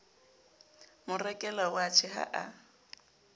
mo rekela watjhe ha a